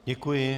Děkuji.